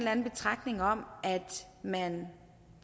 anden betragtning om at man